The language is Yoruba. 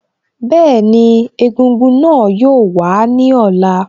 Bẹ́ẹ̀ni, egúngún náà yóò wàá ní ọ̀la